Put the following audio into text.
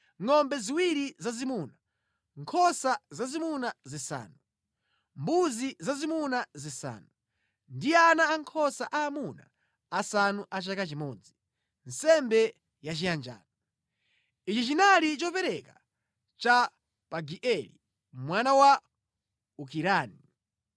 ngʼombe ziwiri zazimuna, nkhosa zazimuna zisanu, mbuzi zazimuna zisanu, ndi ana ankhosa aamuna asanu a chaka chimodzi, nsembe yachiyanjano. Ichi chinali chopereka cha Pagieli mwana wa Okirani.